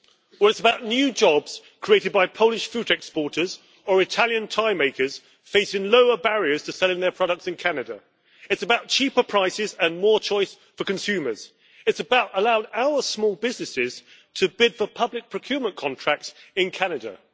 It is about new jobs created by Polish fruit exporters or Italian tie makers facing lower barriers to selling their products in Canada, it is about cheaper prices and more choice for consumers, and it is about allowing our small businesses to bid for public procurement contracts in Canada.